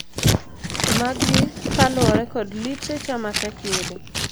Magi kaluore kod literature matek yudo.